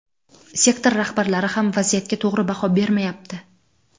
Sektor rahbarlari ham vaziyatga to‘g‘ri baho bermayapti.